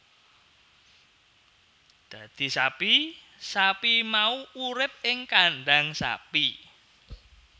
Dadi sapi sapi mau urip ing kandhang sapi